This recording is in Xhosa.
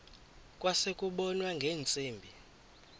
kwase kubonwa ngeentsimbi